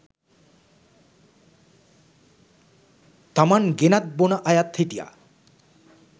තමන් ගෙනත් බොන අය හිටියා